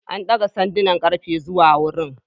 An daga sandunan ƙarfe zuwa wurin.